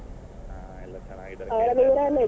ಹಾ ಎಲ್ಲ ಚೆನ್ನಾಗಿದ್ದಾರೆ .